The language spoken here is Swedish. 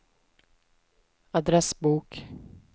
adressbok